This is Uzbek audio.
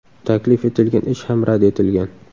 Taklif etilgan ish ham rad etilgan.